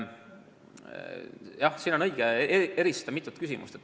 Jah, siin on õige eristada mitut küsimust.